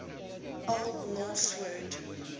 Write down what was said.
old norse word